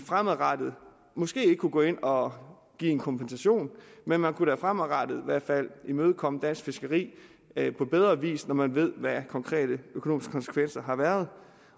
fremadrettet måske ikke kunne gå ind og give en kompensation men man kan da fremadrettet i hvert fald imødekomme dansk fiskeri på bedre vis når man ved hvad de konkrete konsekvenser har været